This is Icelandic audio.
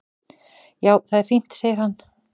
"""Já, það er fínt, segir hann."""